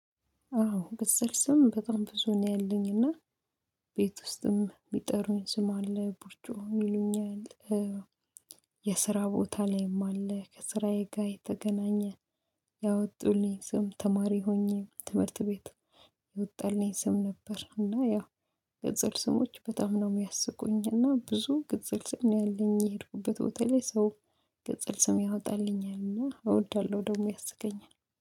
አዎ ቅጽል ስም በጣም ብዙ ነው ያለኝ እና ቤት ውስጥም የሚጠሩኝ ስም አለ ቡቾም ይሉኛል። የስራ ቦታ ላይም አለ ከስራዬ ጋር የተገናኘ ያወጡልኝ ስም ተማሪ ሆኜ ትምህርት ቤት የወጣልኝ ስም ነበር። እና ያው ቅጽል ስሞች በጣም ነው የሚያስቁኝ እና ብዙ ቅጽል ስም ነው ያለኝ የሄድኩበት ቦታ ላይ ሰው ቅጽል ስም ያወጣልኛልና እወዳለሁ። ደግሞ ያስቀኛል